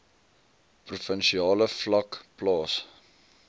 provinsiale vlak plaas